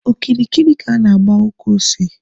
Okirikiri ka a na-agba ukwu ose.